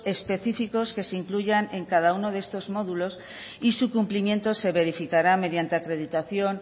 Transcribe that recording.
específicos que se incluyan en cada uno de estos módulos y su cumplimiento se verificará mediante acreditación